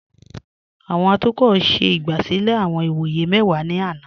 Awọn atukọ ṣẹ igbásílẹ̀ awọn ìwọyẹ̀ mẹ́wà ni àná.